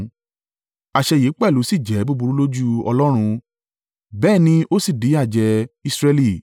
Àṣẹ yìí pẹ̀lú sì jẹ́ búburú lójú Ọlọ́run, bẹ́ẹ̀ ni ó sì díyàjẹ Israẹli.